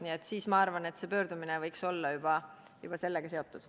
Nii et ma arvan, et see pöördumine võiks olla juba sellega seotud.